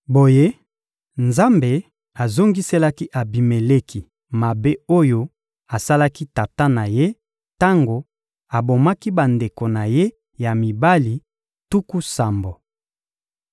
Boye, Nzambe azongiselaki Abimeleki mabe oyo asalaki tata na ye tango abomaki bandeko na ye ya mibali tuku sambo.